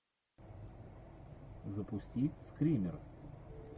запусти скример